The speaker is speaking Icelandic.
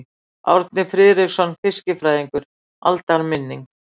Árni Friðriksson fiskifræðingur: Aldarminning.